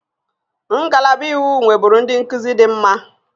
Ngalaba iwu nweburu ndị nkuzi dị mma